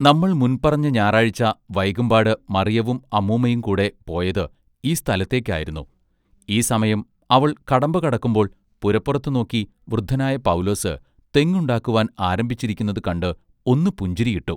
നമ്മൾ മുൻപറഞ്ഞ ഞായറാഴ്ച വൈകുംപാട് മറിയവും അമ്മൂമ്മയും കൂടെ പോയത് ഈ സ്ഥലത്തേക്ക് ആയിരുന്നു ഈ സമയം അവൾ കടമ്പ കടക്കുമ്പോൾ പുരപ്പുറത്ത് നോക്കി വൃദ്ധനായ പൗലോസ് തെങ്ങുണ്ടാക്കുവാൻ ആരംഭിച്ചിരിക്കുനത് കണ്ട് ഒന്നു പുഞ്ചിരിയിട്ടു.